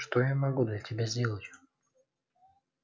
что я могу для тебя сделать